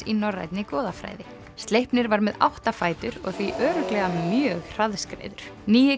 í norrænni goðafræði Sleipnir var með átta fætur og því örugglega mjög hraðskreiður nýi